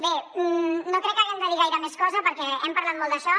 bé no crec que haguem de dir gaire més cosa perquè hem parlat molt d’això